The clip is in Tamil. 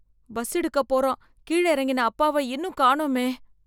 பஸ் எடுக்க போறான், கீழ இறங்கின அப்பாவ இன்னும் காணோமே.